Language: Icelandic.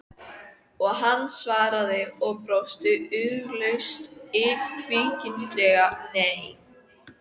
Og hann svaraði, og brosti ugglaust illkvittnislega: Nei.